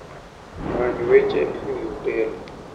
Many weche e wi otel.